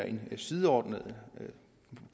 en sideordnet